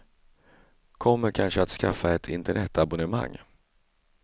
Kommer kanske att skaffa ett internetabonnemang.